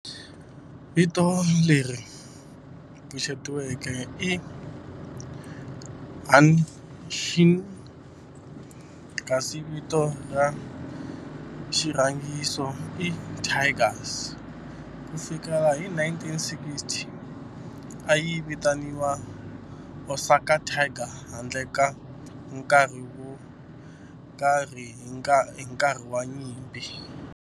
Vito leri pfuxetiweke i Hanshin kasi vito ra xirhangiso i Tigers. Ku fikela hi 1960, a yi vitaniwa Osaka Tigers handle ka nkarhi wo karhi hi nkarhi wa nyimpi.